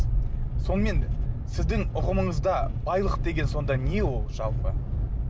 сонымен сіздің ұғымыңызда байлық деген сонда не ол жалпы